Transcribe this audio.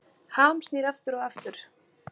Ham snýr aftur og aftur